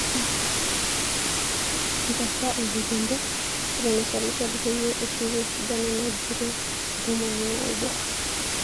nkesa oloikembe eton eshalishal peyie eshuku esidano nagiro ntomoni naudoo